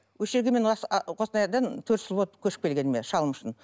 осы жерге мен қостанайдан төрт жыл болады көшіп келгеніме шалым үшін